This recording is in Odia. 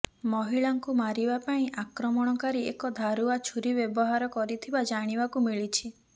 ମହିଳାଙ୍କୁ ମାରିବା ପାଇଁ ଆକ୍ରମଣକାରୀ ଏକ ଧାରୁଆ ଛୁରୀ ବ୍ୟବହାର କରିଥିବା ଜାଣିବାକୁ ମିଳିଛି